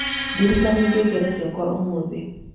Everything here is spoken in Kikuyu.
ndirikania ngengere ciakwa ũmuthĩ